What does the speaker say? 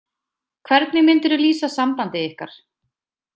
Hvernig myndirðu lýsa sambandi ykkar?